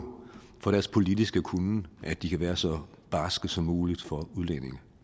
for deres politiske kunnen at de kan være så barske som muligt over